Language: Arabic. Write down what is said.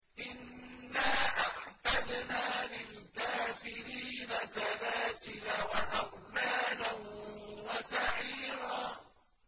إِنَّا أَعْتَدْنَا لِلْكَافِرِينَ سَلَاسِلَ وَأَغْلَالًا وَسَعِيرًا